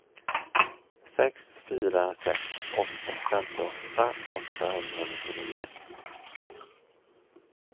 sex fyra sex åtta femtioåtta åttahundranittionio